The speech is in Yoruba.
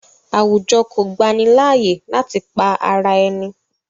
Àwùjọ kọ̀ gbani layé láti pa ara ẹ̀ni